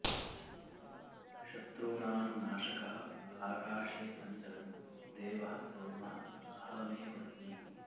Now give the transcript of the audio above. शत्रूणां नाशकः आकाशे सञ्चरन् देवः सोमः अहमेव अस्मि